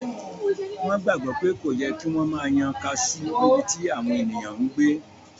Wọ́n gbàgbọ́ pé kò yẹ kí wọ́n máa yan kaasú níbití àwọn èèyàn n gbé